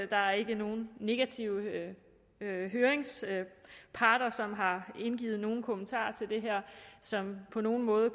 der er ikke nogen negative høringsparter som har indgivet nogen kommentarer til det her som på nogen måde